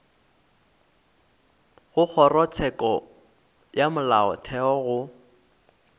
go kgorotsheko ya molaotheo go